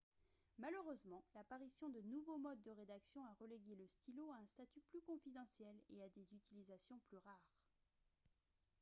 malheureusement l'apparition de nouveaux modes de rédaction a relégué le stylo à un statut plus confidentiel et à des utilisations plus rares